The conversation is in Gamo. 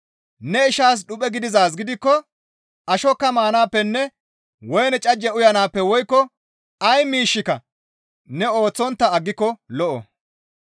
Ne ishaas dhuphe gidizaaz gidikko ashokka maanaappenne woyne cajje uyanaappe woykko ay miishshika ne ooththontta aggiko lo7o.